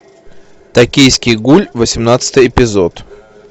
токийский гуль восемнадцатый эпизод